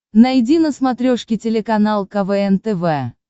найди на смотрешке телеканал квн тв